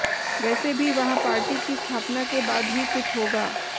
वैसे भी वहां पार्टी की स्थापना के बाद ही कुछ होगा